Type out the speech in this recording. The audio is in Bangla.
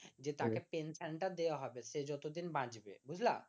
যে টাকে পেনশনটা দেওয়া হবে সে যতদিন বাঁচবে বুঝলা